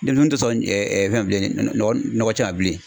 Denmisɛnninw tɛ sɔn fɛn ma bilen, nɔgɔ cɛ ma bilen.